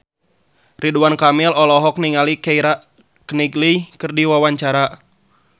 Ridwan Kamil olohok ningali Keira Knightley keur diwawancara